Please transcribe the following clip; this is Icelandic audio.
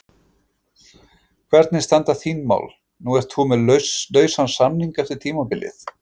Hvernig standa þín mál, nú ert þú með lausan samning eftir tímabilið?